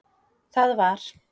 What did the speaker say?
Það var